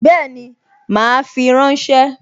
Bẹ́ẹ̀ni, mà á fi ránṣẹ́